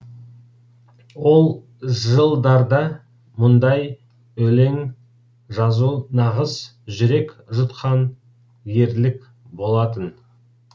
ол жылдарда мұндай өлең жазу нағыз жүрек жұтқан ерлік болатын